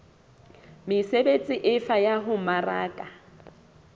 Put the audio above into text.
mesebetsi efe ya ho mmaraka